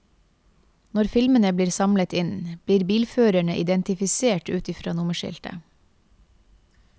Når filmene blir samlet inn, blir bilførerne identifisert ut fra nummerskiltet.